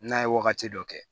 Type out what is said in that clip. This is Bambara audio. N'a ye wagati dɔ kɛ